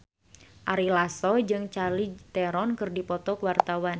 Ari Lasso jeung Charlize Theron keur dipoto ku wartawan